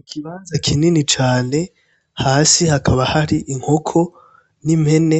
Ikibanza kinini cane hasi hakaba hari inkoko n'impene,